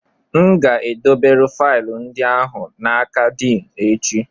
M ga-edobere faịlụ ndị ahụ n'aka Din echi